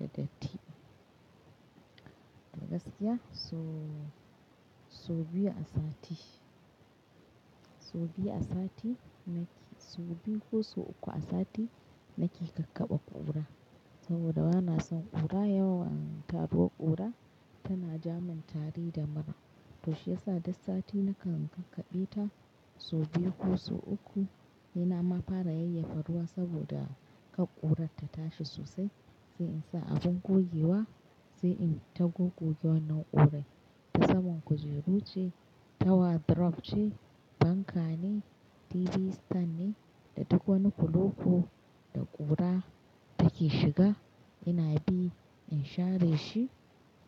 Da datti. Gaskiya so-so biyu a sati. So biyu a sati nake-- so biyu ko so uku a sati nake kakkaba ƙura. Saboda bana son ƙura yawa, taruwar ƙura tana ja min tari da mura. To shiyasa duk sati nakan kakkabe ta so biyu ko so uku. Ina ma fara yayyafa ruwa saboda kan ƙurar ta tashi sosai, sai in sa abin gogewa, sai in-ta gogogewa nau'in ƙura. Ta saman kujeru ce, tawa drop ce, fanka ne, TV stand ne, da duk wani kuloko da ƙura take shiga ina bi in share shi,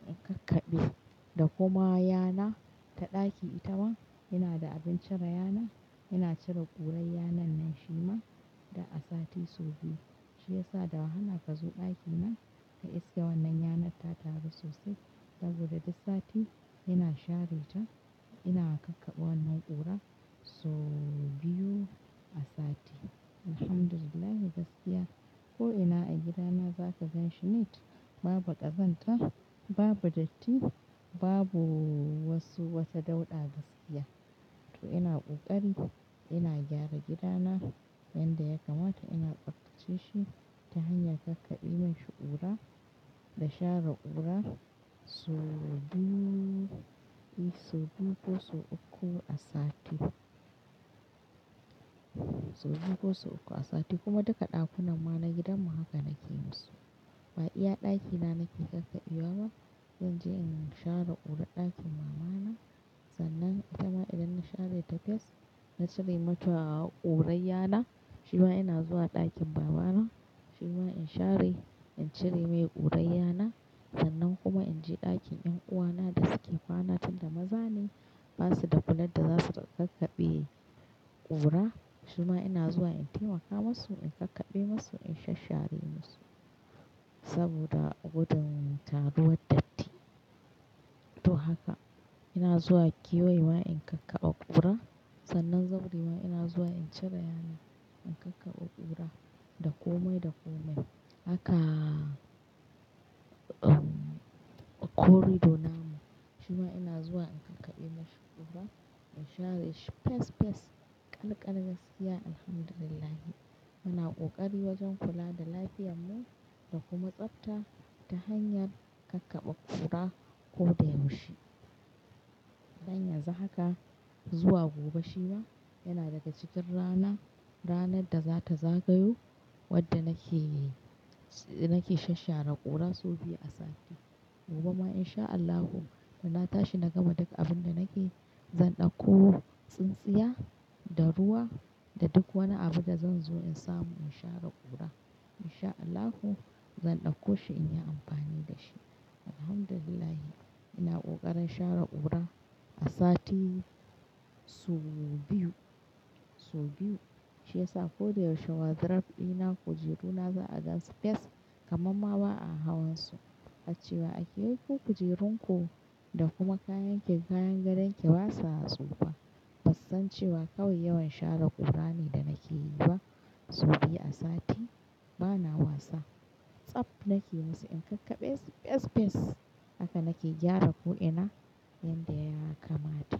in kakkabe. Da kuma yana ta ɗaki itama yana da abin cire yana, ina cire ƙurar yanannan shi ma da a sati so biyu. Shiyasa da wahala ka zo ɗakina, ka iske wannan yanar ta taru sosai saboda duk sati ina share ta, ina kakkabe wannan ƙura so biyu a sati. Alhamdulillah, gaskiya ko'ina a gidana za ka ganshi neat, babu ƙazanta, babu datti, babu wasu-- wata dauɗa gaskiya. To ina ƙoƙari ina gyara gidana yanda ya kamata ina tsaftace shi ta hanyar kakkabe masu ƙura da share ƙura so biyu, so biyu ko so uku a sati. So biyu ko so uku a sati kuma duka ɗakunan ma na gidanmu haka nake yi musu. Ba iya ɗakina nake kakkabe wa ba, zan je in share ƙurar ɗakin mamana, sannan itama idan na share ta fes na cire mata ƙurar yana. Shi ma ina zuwa ɗakin babana, shi ma in share, in cire mai ƙurar yana. Sannan kuma in je ɗakin ƴan uwana da suke kwana tun da maza ne, ba su da kula da za su kakkabe ƙura, shi ma ina zuwa in taimaka musu, in kakkabe musu, in shashare musu. Saboda gudun taruwar datti. To haka ina zuwa keyewa in kakkaba ƙura. Sannan zan bi ina zuwa in cire yana, in kakkaɓe ƙura, da komai da komai. Haka, um, a corridor namu, shi ma ina zuwa in kakkabe masu ƙura, in share shi fes, fes, kal kal, gaskiya alhamdulillah. Muna ƙoƙari wajen kula da lafiyarmu da kuma tsafta ta hanyar kakkaba ƙura ko da yaushe. Dan yanzu haka zuwa gobe shi ma yana daga cikin rana, ranar da za ta zagayo wadda nake, nake shashare ƙura so biyu a sati. Gobe ma in sha Allahu da na tashi na gama duk abin da nake, zan ɗauko tsintsiya, da ruwa, da duk wani abu da zan zo in samu in share ƙura. In sha Allahu zan ɗauko shi in yi amfani da shi. Alhamdulillah ina ƙoƙarin share ƙura a sati so biyu, so biyu. Shiyasa ko da yaushe wadrof ɗina, kujeru na za a gan su fes kamar ma ba a hawan su. A cewa ake yanko kujerun ku da kuma kayan ki kayan gadon ki ba sa tsufa. Ba su san cewa kawai yawan share ƙura ne da nake yi ba. So biyu a sati bana wasa. Tsaf nake yi musu, in kakkabe fes, fes. Haka nake gyara ko'ina yanda ya kamata.